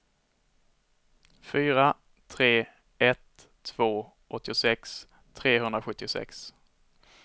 fyra tre ett två åttiosex trehundrasjuttiosex